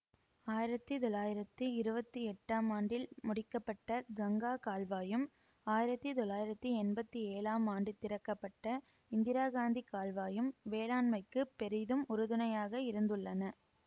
ஆயிரத்தி தொள்ளாயிரத்தி இருபத்தி எட்டாம் ஆண்டில் முடிக்க பட்ட கங்கா கால்வாயும் ஆயிரத்தி தொள்ளாயிரத்தி என்பத்தி ஏழாம் ஆண்டு திறக்கப்பட்ட இந்திராகாந்தி கால்வாயும் வேளாண்மைக்குப் பெரிதும் உறுதுணையாக இருந்துள்ளன